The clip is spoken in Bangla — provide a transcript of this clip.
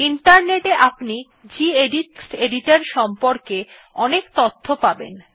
ইন্টারনেট এ আপনি গেদিত টেক্সট এডিটর সম্পর্কে অনেক তথ্য পাবেন